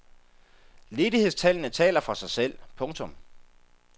Ledighedstallene taler for sig selv. punktum